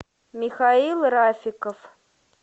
михаил рафиков